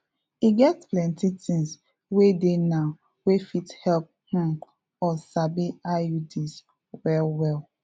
e get plenty things wey dey now wey fit help um us sabi iuds well well